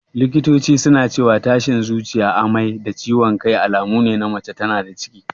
Likitoci suna cewa tashin zuciya, amai da ciwan kai alamune na mace tana da ciki